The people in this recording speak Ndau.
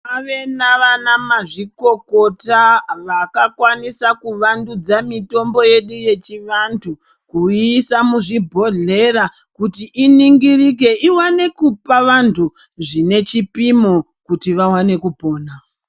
Kwave navana mazvikokota vakakwanisa kuvandudza mitombo yedu yechivantu. Kuiisa muzvibhohlera kuti iningirike iwane kupa vantu zvine chipimo kuti vawane kupona.